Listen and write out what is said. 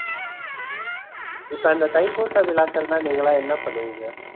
இப்ப அந்த தைப்பூச விழாக்கள்னா நீங்கலாம் என்ன பண்ணுவீங்க?